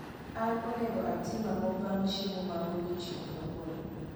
an onego atim ango bang chiemo ma godiechieng kawuono